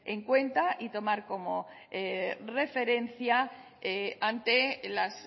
en cuenta y tomar como referencia ante las